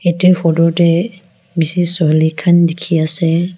idi photo tey bishi suwali khan dikhi ase.